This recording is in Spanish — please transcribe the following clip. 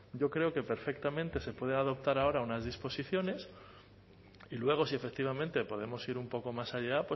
yo creo que perfectamente se puede adoptar unas disposiciones y luego si efectivamente podemos ir un poco más allá